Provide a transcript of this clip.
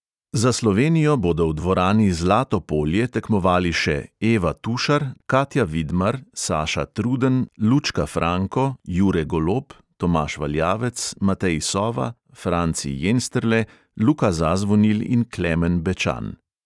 Za slovenijo bodo v dvorani zlato polje tekmovali še: eva tušar, katja vidmar, saša truden, lučka franko, jure golob, tomaž valjavec, matej sova, franci jensterle, luka zazvonil in klemen bečan.